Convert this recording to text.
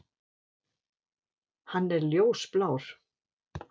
Hann er ljósblár.